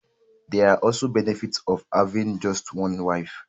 There are also benefits of having just one wife